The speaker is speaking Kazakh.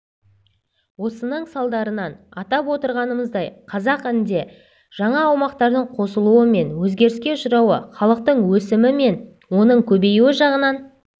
осының салдарынан атап отырғанымыздай қазақ інде жаңа аумақтардың қосылуы мен өзгеріске ұшырауы халықтың өсімі мен оның көбеюі жағынан